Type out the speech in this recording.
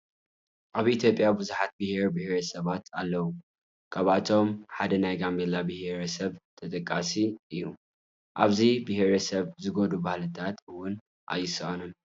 ኣብ ኢ/ያ ብዙሓት ብሄርን ብሄረ ሰባትን ኣለው፡፡ ካብኣቶም ሓደ ናይ ጋምቤላ ብሄረ ሰብ ተጠቃሱ እዩ፡፡ ኣብዚ ብሄረሰብ ዝጎድኡ ባህልታት እውን ኣይሳኣኑን፡፡